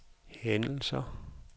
hændelser